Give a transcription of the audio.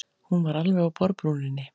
Hún var alveg á borðbrúninni.